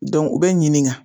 Dɔnku o be ɲininga